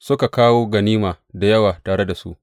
Suka kawo ganima da yawa tare da su.